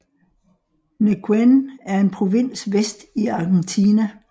Neuquén er en provins vest i Argentina